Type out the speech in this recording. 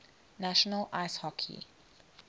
national ice hockey